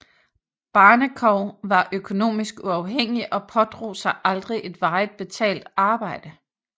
Barnekow var økonomisk uafhængig og påtog sig aldrig et varigt betalt arbejde